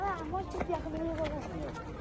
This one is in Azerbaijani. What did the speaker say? Hara, maşın gələn yerdən gəldin.